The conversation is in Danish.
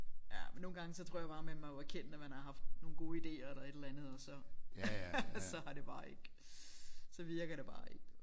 Ja men nogle gange så tror jeg bare man må erkende at man har haft nogle gode ideer eller et eller andet og så så har det bare ikke så virker det bare ikke